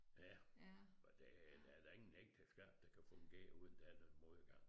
Ja og der der er da ingen ægteskab der kan fungere uden der er noget modgang